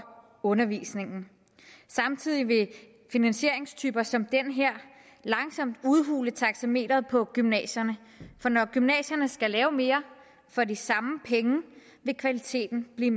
undervisningen samtidig vil finansieringstyper som den her langsomt udhule taxameteret på gymnasierne for når gymnasierne skal lave mere for de samme penge vil kvaliteten blive